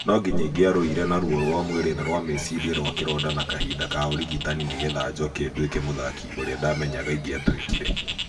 No nginya ingĩarũire na ruo rũa mwĩrĩ na rwa meciria rwa kĩronda na kahinda ka ũrigitani nĩgethe njoke nduĩke mũthaki ũrĩa ndamenyaga ingiatuĩkire.